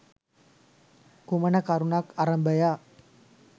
කුමන කරුණක් අරභයා